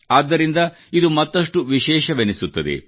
ಆದ್ದರಿಂದ ಇದು ಮತ್ತಷ್ಟು ವಿಶೇಷವೆನಿಸುತ್ತದೆ